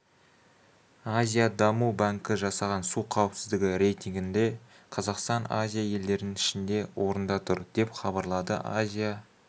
азия даму банкі жасаған су қауіпсіздігі рейтингінде қазақстан азия елдерінің ішінде орында тұр деп хабарлады азия